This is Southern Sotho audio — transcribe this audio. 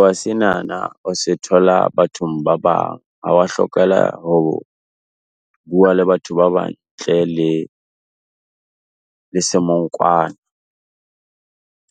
wa senana o se thola bathong ba bang, hlokahala hore o bua le batho ba bang ntle le le semongkwana,